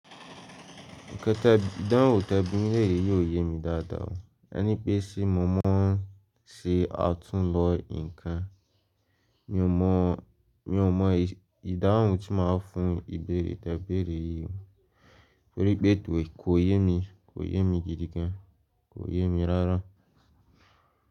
Ìkẹta ìdáhùn tẹ bimi leere yi o yé mi dáadáa. E ní pé ṣé mo mọ̀ ọ́n ṣé atúnlọ nǹkan. Mi ò mọ̀, mi ò mọ ìdáhùn tí màá fún ìbéèrè tẹbéèrè yìí, torí pé kò yé mi, kò yé mi jidì gan, kò yé mi rárá.